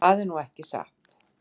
Það er nú ekki satt.